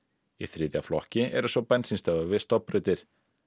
í þriðja flokki eru svo bensínstöðvar við stofnbrautir